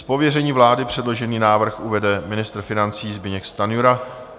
Z pověření vlády předložený návrh uvede ministr financí Zbyněk Stanjura.